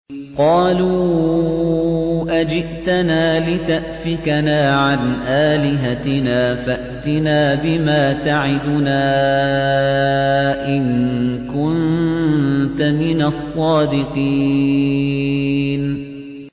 قَالُوا أَجِئْتَنَا لِتَأْفِكَنَا عَنْ آلِهَتِنَا فَأْتِنَا بِمَا تَعِدُنَا إِن كُنتَ مِنَ الصَّادِقِينَ